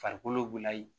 Farikolo layi